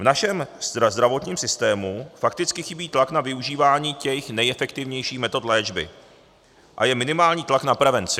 V našem zdravotním systému fakticky chybí tlak na využívání těch nejefektivnějších metod léčby a je minimální tlak na prevenci.